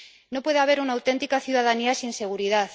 No puede haber una auténtica ciudadanía sin seguridad.